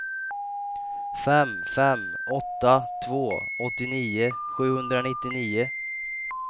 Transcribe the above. fem fem åtta två åttionio sjuhundranittionio